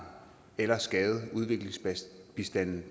eller skade udviklingsbistanden